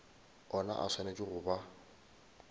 ona a swanetše go ba